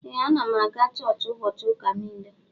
Ee anam aga chọọchi ubochi uka nile.